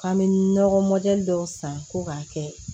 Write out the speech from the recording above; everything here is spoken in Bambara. K'an bɛ nɔgɔ dɔw san fo k'a kɛ